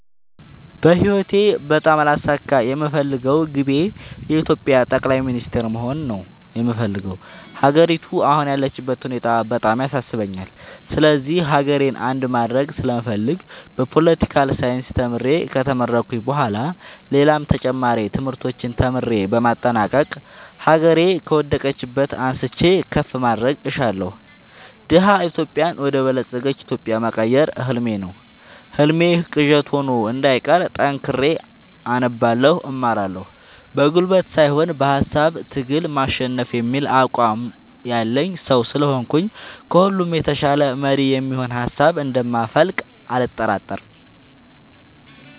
በህይወቴ በጣም ላሳካ የምፈልገው ግቤ የኢትዮጵያ ጠቅላይ ሚኒስተር መሆን ነው የምፈልገው። ሀገሪቱ አሁን ያለችበት ሁኔታ በጣም ያሳስበኛል ስለዚህ ሀገሬን አንድ ማድረግ ስለምፈልግ በፓለቲካል ሳይንስ ተምሬ ከተመረኩኝ በኋላ ሌላም ተጨማሪ ትምህርቶችን ተምሬ በማጠናቀቅ ሀገሬ ከወደቀችበት አንስቼ ከፍ ማድረግ እሻለሁ። ደሀ ኢትዮጵያን ወደ በለፀገች ኢትዮጵያ መቀየር ህልሜ ነው ህልሜ ቅዠት ሆኖ እንዳይቀር ጠንክሬ አነባለሁ እማራለሁ። በጉልበት ሳይሆን በሃሳብ ትግል ማሸነፍ የሚል አቋም ያለኝ ሰው ስለሆንኩኝ ከሁሉ የተሻለ መሪ የሚሆን ሀሳብ እንደ ማፈልቅ አልጠራጠርም።